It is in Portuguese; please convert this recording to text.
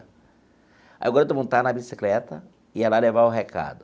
Aí o garoto montava na bicicleta e ia lá levar o recado.